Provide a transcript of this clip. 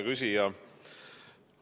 Hea küsija!